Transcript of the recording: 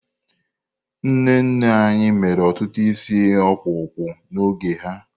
Nne nne anyị mere ọtụtụ isi okpokpo n'oge ha.